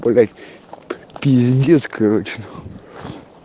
блять пиздец короче нахуй